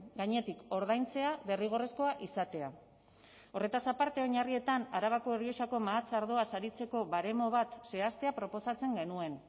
gainetik ordaintzea derrigorrezkoa izatea horretaz aparte oinarrietan arabako errioxako mahats ardoa saritzeko baremo bat zehaztea proposatzen genuen